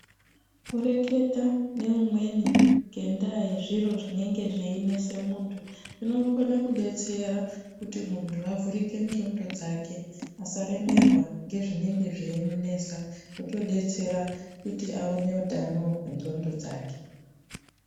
Kureketa neumweni ngendaa yezviro zvinenge zveinese muntu svinokone kudetsera kuti muntu avhurike ndxondo dzake asaremerwa ngezvinengw zveimunesa otodetsera kuti aone utano hwendxondo dzake.